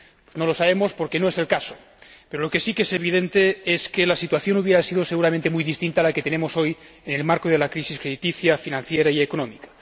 No lo sabemos porque no es el caso, pero lo que sí que es evidente es que la situación hubiera sido seguramente muy diferente de la que tenemos hoy, en el marco de la crisis crediticia, financiera y económica.